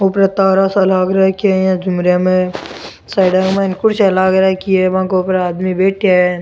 ऊपर तारा सा लाग राखया है साइडाँ में कुर्सियां लाग राखी है आदमी बैठया है।